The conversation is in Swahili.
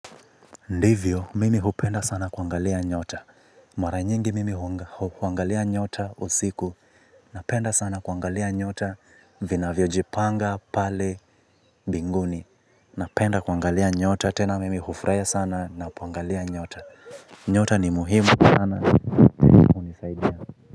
Ndivyo mimi hupenda sana kuangalia nyota. Mara nyingi mimi hupenda sana kuangalia nyota usiku. Napenda sana kuangalia nyota vinavyojipanga pale mbinguni. Napenda kuangalia nyota tena mimi hufurahia sana napoangalia nyota. Nyota ni muhimu sana hunisaidia.